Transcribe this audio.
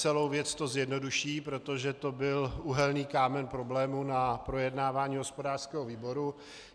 Celou věc to zjednoduší, protože to byl úhelný kámen problému na projednávání hospodářského výboru.